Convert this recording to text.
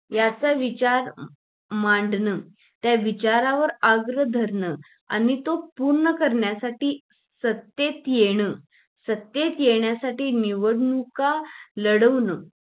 याचा विचार मांडणं, त्या विचारांवर अग्र धारण आणि तो पूर्ण करण्यासाठी सत्तेत येणे सत्तेत, येण्यासाठी निवडणूक लढवणं.